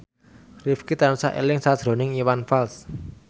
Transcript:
Rifqi tansah eling sakjroning Iwan Fals